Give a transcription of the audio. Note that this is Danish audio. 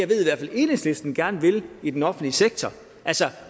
ved at enhedslisten gerne vil i den offentlige sektor altså